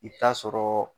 I bɛ taa sɔrɔɔ